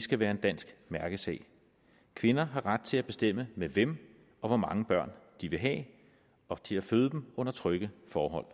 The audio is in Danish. skal være en dansk mærkesag kvinder har ret til at bestemme med hvem og hvor mange børn de vil have og til at føde dem under trygge forhold